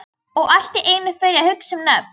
Og allt í einu fer ég að hugsa um nöfn.